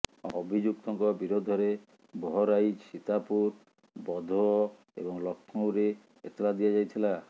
ଅଭିଯୁକ୍ତଙ୍କ ବିରୋଧରେ ବହରାଇଚ୍ ସୀତାପୁର ଭଦୋହ ଏବଂ ଲକ୍ଷ୍ନୌରେ ଏତଲା ଦିଆଯାଇଥିଲା